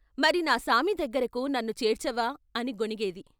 మరి నా సామి దగ్గరకు నన్ను చేర్చవా ' అని గొణిగేది.